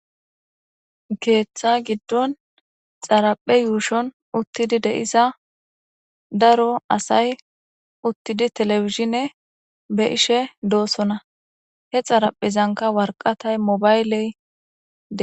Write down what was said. keeththa giddon xaraphe yuushon uttidi de7isa daro asay uttidi telefishine be ishe doossona he xaraphezanka warqatay mobayley e